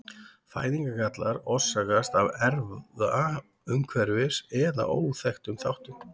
Fæðingargallar orsakast af erfða-, umhverfis- eða óþekktum þáttum.